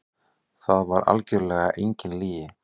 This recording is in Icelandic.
Það var örugglega engin lygi.